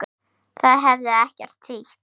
Það hefði ekkert þýtt.